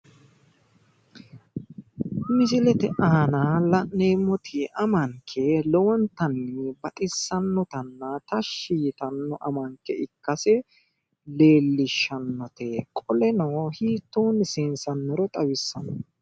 Misillete aanna la'neeemoti amanke lowontanni baxisanotanna tashshi yitano amanke ikkase leelishanote qoleno hiittonni seensanniro xawissano.